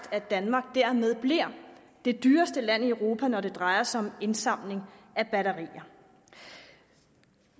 at danmark dermed bliver det dyreste land i europa når det drejer sig om indsamling af batterier